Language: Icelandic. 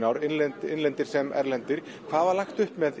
ár innlendir innlendir sem erlendir hvað var lagt upp með